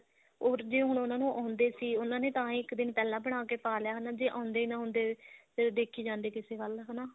or ਜੇ ਉਹਨਾਂ ਨੂੰ ਆਉਂਦੇ ਸੀ ਉਹਨਾਂ ਨੇ ਤਾਂ ਇੱਕ ਦਿਨ ਪਹਿਲਾਂ ਬਣਾਕੇ ਪਾ ਲਿਆ ਹਨਾ ਜੇ ਆਉਂਦੇ ਨਾ ਹੁੰਦੇ ਫੇਰ ਦੇਖੀ ਜਾਂਦੇ ਕਿਸੇ ਵੱਲ ਹਨਾ